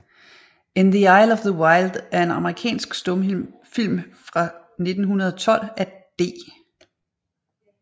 In the Aisles of the Wild er en amerikansk stumfilm fra 1912 af D